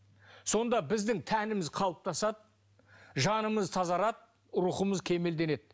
сонда біздің тәніміз қалыптасады жанымыз тазарады рухымыз кемелденеді